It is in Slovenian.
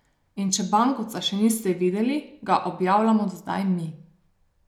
In če bankovca še niste videli, ga objavljamo zdaj mi.